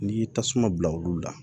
N'i y'i tasuma bila olu la